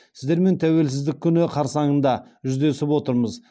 сіздермен тәуелсіздік күні қарсаңында жүздесіп отырмыз